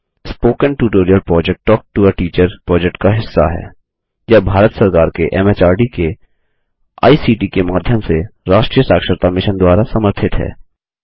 spoken tutorial project talk to a teacher project का हिस्सा है यह भारत सरकार के एमएचआरडी के आईसीटी के माध्यम से राष्ट्रीय साक्षरता मिशन द्वारा समर्थित है